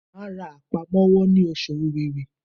Màá ra àpamọ́wọ́ ní oṣù Òwewé